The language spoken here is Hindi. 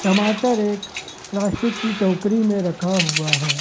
टमाटर एक प्लास्टिक की टोकरी में रखा हुआ है।